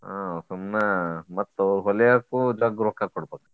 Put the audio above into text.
ಆಹ್ ಸುಮ್ನ ಮತ್ತ ಅವ್ರ ಹೊಲಿಯಾಕು ಜಗ್ಗ್ ರೊಕ್ಕಾ ಕೊಡ್ಬೇಕ.